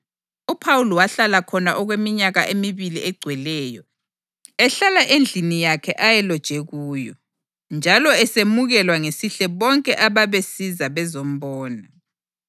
UPhawuli wahlala khona okweminyaka emibili egcweleyo, ehlala endlini yakhe ayeloje kuyo, njalo esemukela ngesihle bonke ababesiza bezombona.